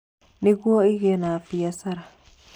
Nĩguo ĩgĩe na biacara.